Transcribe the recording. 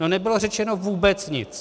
No, nebylo řečeno vůbec nic.